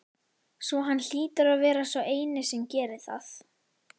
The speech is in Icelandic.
Svo hann hlýtur að vera sá eini sem gerir það?